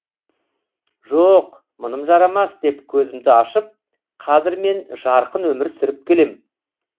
жоқ мұным жарамас деп көзімді ашып қазір мен жарқын өмір сүріп келем